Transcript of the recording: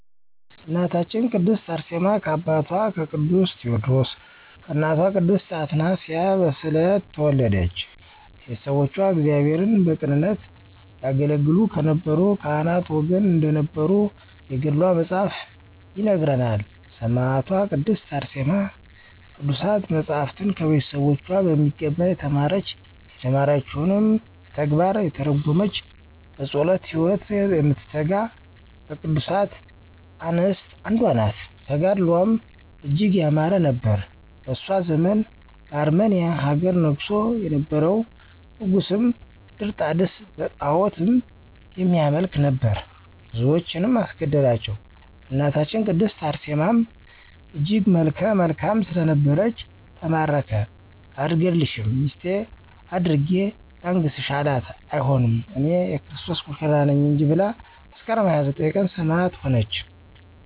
እናታችን ቅድስት አርሴማ ከአባቷ ከቅዱስ ቴወድሮስ ከእናቷ ቅድስት አትናስያ በስዕለት ተወለደች። ቤተሰቦቿ እግዚአብሔርን በቅንነት ያገለገሉ ከነበሩ ካህናት ወገን እንደነበሩ የገድሏ መፅሀፍ ይነግረናል። ሰማዕቷ ቅድስት አርሴማ ቅዱሳት መፃፍትን ከቤተሰቦቿ በሚገባ የተማረች፤ የተማረችዉንም በተግባር የተረጎመች፤ በፀሎት ህይወት የምትተጋ ከቅዱሳት አንስት አንዷ ናት። ተጋድሎዋም እጅግ ያማረ ነበር። በእሷ ዘመን በአርመንያ ሀገር ነግሶ የነበረዉ ንጉስም ድርጣድስ በጣዖትም የሚያመልክ ነበር። ብዙዎችንም አስገደላቸዉ በእናታችን ቅድስት አርሴማም እጅግ መልከ መልካም ስለነበረች ተማረከ አልገድልሽም ሚስቴ አድርጌ ላንግስሽ አላት አይሆንም እኔ<የክርስቶስ ሙሽራ ነኝ >እንጂ ብላ መስከረም 29 ቀን ሰማዕት ሆነች።